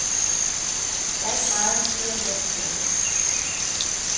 Der er ikke meget at sige om den sag.